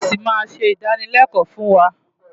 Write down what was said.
Nọ́ọ̀sì máa ṣe ìdánılẹ́kọ̀ọ́ fún wa.